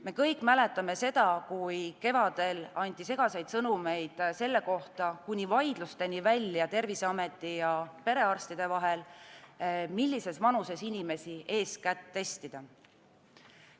Me kõik mäletame seda, kui kevadel anti segaseid sõnumeid selle kohta, kuni vaidlusteni välja Terviseameti ja perearstide vahel, millises vanuses inimesi eeskätt testida.